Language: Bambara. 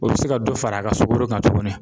O bɛ se ka dɔ fara a ka sukoro kan tuguni